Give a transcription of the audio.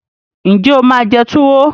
Ǹjẹ́ o máa jẹ túwo